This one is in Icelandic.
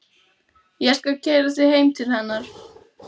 Ég skal keyra þig heim til hennar.